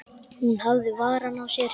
Hún hafði varann á sér.